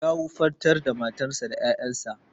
Ya wufantar da matarsa da ƴaƴansa.